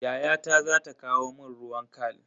Yayata za ta kawo mun ruwan khal.